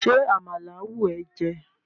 ṣe àmàlà wù e jé?